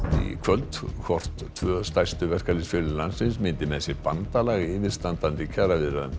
í kvöld hvort tvö stærstu verkalýðsfélög landsins myndi með sér bandalag í yfirstandandi kjaraviðræðum